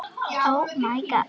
Hann kom að frú